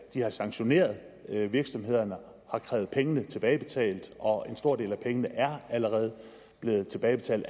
de har sanktioneret virksomhederne og har krævet pengene tilbagebetalt og en stor del af pengene er allerede blevet tilbagebetalt